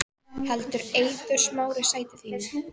Heldur Eiður Smári sæti sínu